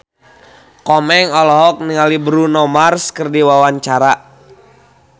Komeng olohok ningali Bruno Mars keur diwawancara